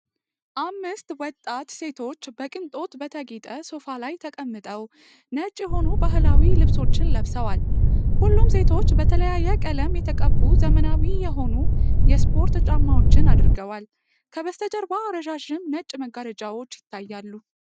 አምስት ወጣት ሴቶች በቅንጦት በተጌጠ ሶፋ ላይ ተቀምጠው ነጭ የሆኑ ባህላዊ ልብሶችን ለብሰዋል። ሁሉም ሴቶች በተለያየ ቀለም የተቀቡ ዘመናዊ የሆኑ የስፖርት ጫማዎችን አድርገዋል። ከበስተጀርባ ረዣዥም ነጭ መጋረጃዎች ይታያሉ።